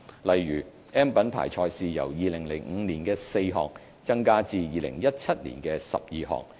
例如 ，"M" 品牌賽事由2005年的4項增加至2017年的12項。